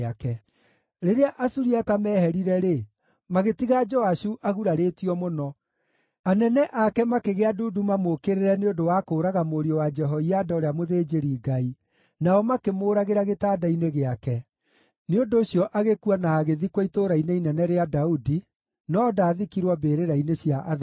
Rĩrĩa Asuriata meeherire-rĩ, magĩtiga Joashu agurarĩtio mũno. Anene ake makĩgĩa ndundu mamũũkĩrĩre nĩ ũndũ wa kũũraga mũriũ wa Jehoiada ũrĩa mũthĩnjĩri-Ngai, nao makĩmũũragĩra gĩtanda-inĩ gĩake. Nĩ ũndũ ũcio agĩkua na agĩthikwo Itũũra-inĩ Inene rĩa Daudi, no ndaathikirwo mbĩrĩra-inĩ cia athamaki.